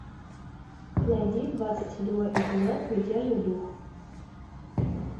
найди двадцать седьмой эпизод мятежный дух